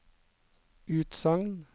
utsagn